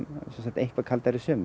eitthvað kaldari sumur